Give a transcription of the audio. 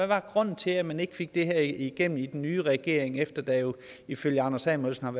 var grunden til at man ikke fik det igennem i den nye regering efter at der jo ifølge anders samuelsen